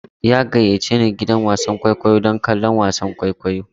Ya gayyace ni gidan wasan kwaikwayo don kallon wasan kwaikwayo.